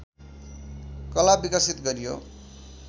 कला विकसित गरियो